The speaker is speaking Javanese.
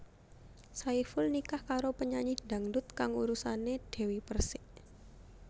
Saiful nikah karo penyanyi dangdut kang urusané Dewi Perssik